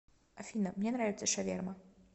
афина мне нравится шаверма